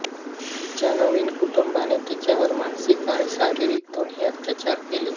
तिच्या नवीन कुटुंबाने तिच्यावर मानसिक आणि शारीरिक दोन्ही अत्याचार केले